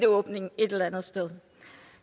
åbning et eller andet sted